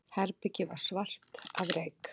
Herbergið var svart af reyk.